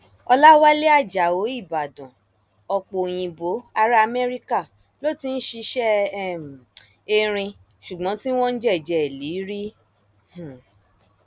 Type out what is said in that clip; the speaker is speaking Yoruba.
ọlàwálẹ ajáò ìbàdàn ọpọ òyìnbó ará amẹríkà ló ti ń ṣiṣẹ um erin ṣùgbọn tí wọn ń jẹjẹ ẹlẹìrì um